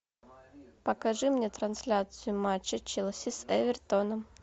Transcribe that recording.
покажи мне трансляцию матча челси с эвертоном